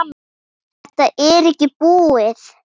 Þetta er ekkert búið.